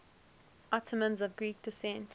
ottomans of greek descent